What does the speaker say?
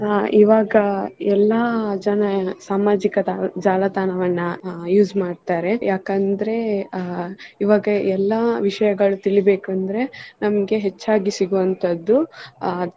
ಈವಾಗ ಎಲ್ಲ ಜನ ಸಾಮಾಜಿಕ ಜಾಲ~ ಜಾಲತಾಣವನ್ನ use ಮಾಡ್ತಾರೆ ಯಾಕಂದ್ರೆ ಅಹ್ ಈವಾಗ ಎಲ್ಲ ವಿಷಯಗಳು ತಿಳಿಬೇಕು ಅಂದ್ರೆ ನಮಗೆ ಹೆಚ್ಚಾಗಿ ಸಿಗುವಂತದ್ದು.